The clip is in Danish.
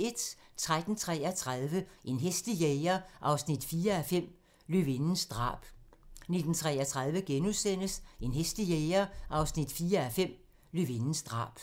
13:33: En hæslig jæger 4:5 – Løvindens drab 19:33: En hæslig jæger 4:5 – Løvindens drab *